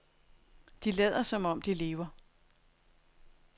De lader som om de lever.